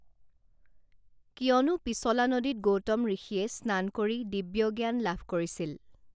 কিয়নো পিছলা নদীত গৌতম ঋষিয়ে স্নান কৰি দিব্যজ্ঞান লাভ কৰিছিল